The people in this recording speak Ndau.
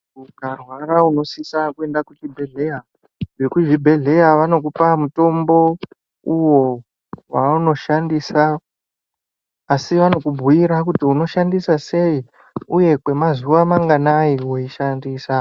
Ukarwara unosisa kwenda kuchibhedhleya vekuzvibhedhleya vanokupa mutombo uvo vavanoshandisa. Asi vanokubhuira kuti unoshandisa sei, uye kwemazuva manganai veishandisa.